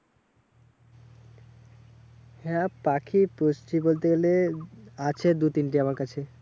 হ্যাঁ পাখি পুষছি বলতে গেলে আছে দু তিনটে আমার কাছে।